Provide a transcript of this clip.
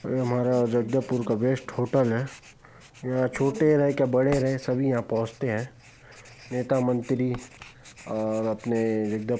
और ये हमारा जगदलपुर का बेस्ट होटल है यहाँ छोटे रहे के बड़े रहे सभी यहाँ पहुँचते हैं नेता मंत्री और अपने जगदल--